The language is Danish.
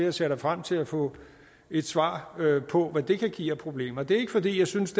og ser da frem til at få et svar på hvad det kan give af problemer det er ikke fordi jeg synes